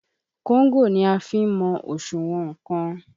Kóńgò ni a fi ń mọ òṣùwọ̀n nnkan.